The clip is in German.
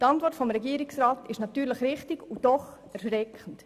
Die Antwort des Regierungsrats ist natürlich richtig und doch erschreckend.